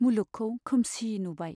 मुलुगखौ खोमसि नुबाय।